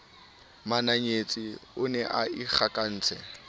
mananyetsa o ne a ikgakantse